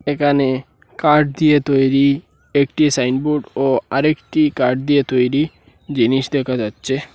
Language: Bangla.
এখানে কাঠ দিয়ে তৈরি একটি সাইনবোর্ড ও আরেকটি কাঠ দিয়ে তৈরি জিনিস দেখা যাচ্ছে।